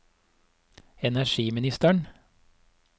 energiministeren